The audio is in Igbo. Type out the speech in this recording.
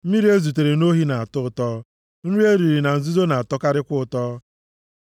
“Mmiri e zutere nʼohi na-atọ ụtọ, nri e riri na nzuzo na-atọkarịkwa nʼụtọ.”